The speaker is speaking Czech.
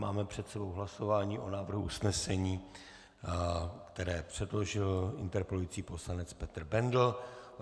Máme před sebou hlasování o návrhu usnesení, které předložil interpelující poslanec Petr Bendl.